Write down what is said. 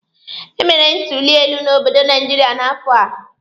E mere ntuli elu n'obodo Naijiria n'afọ a.